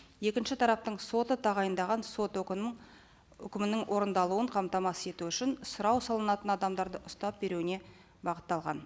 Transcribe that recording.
екінші тараптың соты тағайындаған сот өкімін өкімінің орындалуын қамтамасыз ету үшін сұрау салынатын адамдарды ұстап беруіне бағытталған